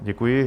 Děkuji.